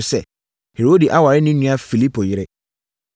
sɛ, Herode aware ne nua Filipo yere.